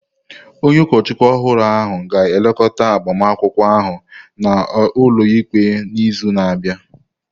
Onye ụkọchukwu ọhụrụ ahụ ga-elekọta agbamakwụkwọ ahụ n’ụlọikpe n’izu na-abịa.